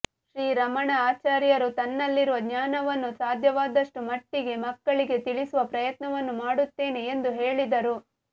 ಶ್ರೀ ರಮಣ ಆಚಾರ್ಯರು ತನ್ನಲ್ಲಿರುವ ಜ್ಞಾನವನ್ನು ಸಾಧ್ಯವಾದಷ್ಟು ಮಟ್ಟಿಗೆ ಮಕ್ಕಳಿಗೆ ತಿಳಿಸುವ ಪ್ರಯತ್ನವನ್ನು ಮಾಡುತ್ತೇನೆ ಎಂದು ಹೇಳಿದರು